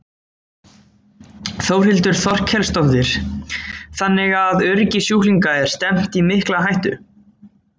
Þórhildur Þorkelsdóttir: Þannig að öryggi sjúklinga er stefnt í mikla hættu?